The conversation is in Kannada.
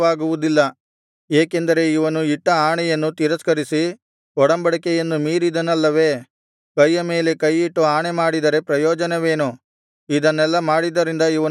ಏಕೆಂದರೆ ಇವನು ಇಟ್ಟ ಆಣೆಯನ್ನು ತಿರಸ್ಕರಿಸಿ ಒಡಂಬಡಿಕೆಯನ್ನು ಮೀರಿದನಲ್ಲವೇ ಕೈಯ ಮೇಲೆ ಕೈಯಿಟ್ಟು ಆಣೆಮಾಡಿದರೆ ಪ್ರಯೋಜನವೇನು ಇದನ್ನೆಲ್ಲಾ ಮಾಡಿದ್ದರಿಂದ ಇವನು ಪಾರಾಗನು